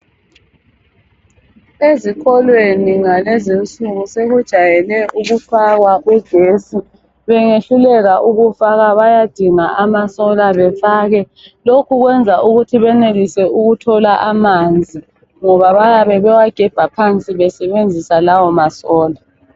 Ezikolweni ngalezi insuku sekujayele ukufakwa ugesi. Bengehluleka ukufaka bayadinga amasola befake. Lokhu kwenza benelise ukuthola amanzi ngoba bayabe bewagebha phansi besenzisa lawo masola.